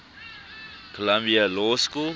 columbia law school